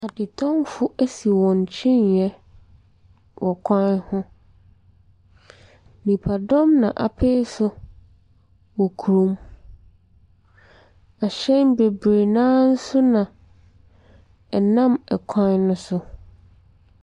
Adetɔnfo asi wɔn kyiniiɛ wɔ kwan ho. Nnipadɔm na apee so wɔ kurom. Ɛhyɛn bebree no ara so na ɛnam ɛkwan no so.